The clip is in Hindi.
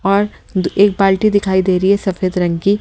और एक बाल्टी दिखाई दे रही है सफेद रंग की.--